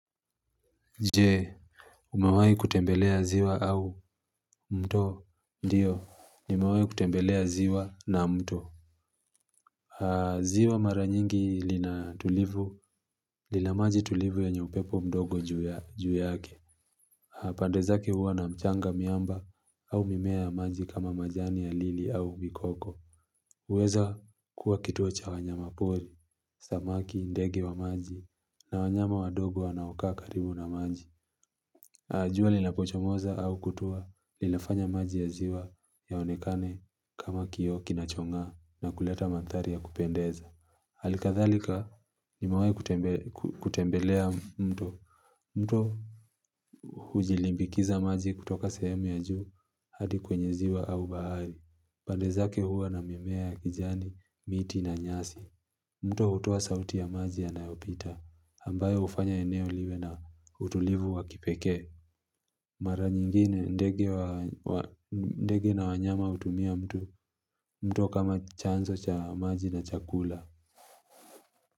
Je, umewai kutembelea ziwa au mto? Ndio, nimewai kutembelea ziwa na mto. Ziwa mara nyingi lina tulivu. Lina maji tulivu yenye upepo mdogo juu yake. Pande zake huwa na mchanga miamba au mimea ya maji kama majani ya lili au mikoko. Uweza kuwa kituocha wanyama poli, samaki, ndege wa maji. Na wanyama wadogo anawakaa karibu na maji. Jua linapochomoza au kutua linafanya maji ya ziwa yaonekane kama kioo kinachongaa na kuleta mandhari ya kupendeza. Halikathalika nimewai kutembelea mto. Mto hujilimbikiza maji kutoka sehemu ya juu hadi kwenye ziwa au bahari. Pande zake huwa na mimea ya kijani, miti na nyasi. Mto hutoa sauti ya maji yanayoopita. Ambayo hufanya eneo liwe na utulivu wa kipekee. Mara nyingine ndege na wanyama hutumia mtu kama chanso cha maji na chakula.